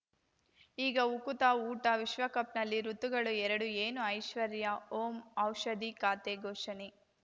ಈಗ ಉಕುತ ಊಟ ವಿಶ್ವಕಪ್‌ನಲ್ಲಿ ಋತುಗಳು ಎರಡು ಏನು ಐಶ್ವರ್ಯಾ ಓಂ ಔಷಧಿ ಖಾತೆ ಘೋಷಣೆ